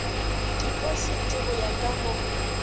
dipositi go ya ka mo